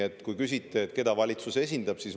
Te küsite, keda valitsus esindab.